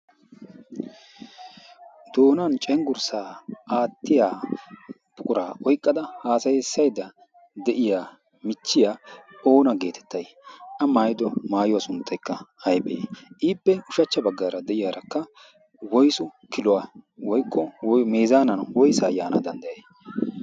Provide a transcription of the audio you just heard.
doonan cengursaa aatiya buquraa oyqqada cengursaa aatiya miishsha goochchayda diya na'iyaa meezzaana woysaa yaana danddayay?